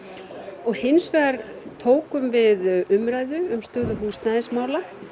og hins vegar tókum við umræðu um stöðu húsnæðismála